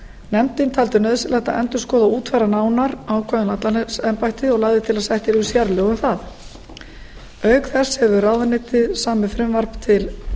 nefndin taldi nauðsynlegt að endurskoða og útfæra nánar ákvæði um landlæknisembættið og lagði til að sett yrðu sérlög um það auk þess hefur ráðuneytið samið frumvarp til